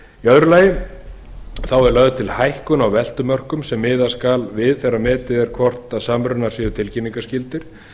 öðru lagi er lögð til hækkun á veltumörkum sem miða skal við þegar metið er hvort samrunar séu tilkynningarskyldir